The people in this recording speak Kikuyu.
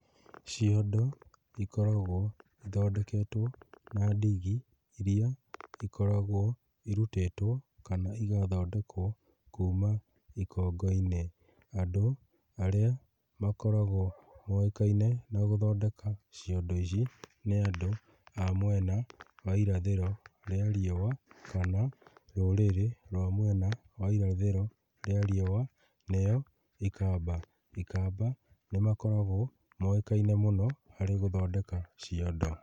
Ciondo ikoragwo ithondeketwo na ndigi iria ikoragwo irutĩtwo kana igathondekwo kuma ikongo-inĩ. Andũ arĩa makoragwo moĩkaine na gũthondeka ciondo ici, nĩ andũ a mwena wa irathĩro rĩa riũa kana rũrĩrĩ rwa mwena wa irathĩro rĩa riũa, nĩo ikamba. Ikamba nĩmakoragwo moĩkaine mũno harĩ gũthondeka ciondo.